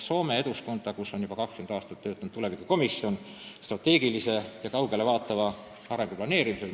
Soome Eduskunnas on juba 20 aastat töötanud parlamendi alalise komisjonina tulevikukomisjon, mis tegeleb strateegilise ja kaugele vaatava arengu planeerimisega.